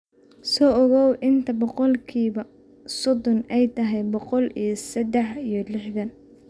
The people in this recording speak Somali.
soo ogow inta boqolkiiba soddon ay tahay boqol iyo saddex iyo lixdan